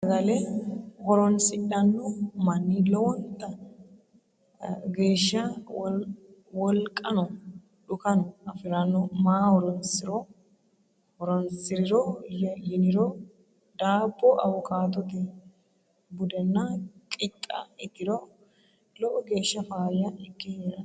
Tenne saagale horrosidhanoo mani lowontta geshsha wooliqano dhukaano afirrano maa horrosiriro yinniro dabbo awukaatto budenna qixxa itirro lowo geshsha fayya ike herrano